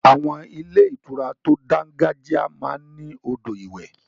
Àwọn ilé ìtura tó dángájiá máa ń ní odò ìwẹ̀.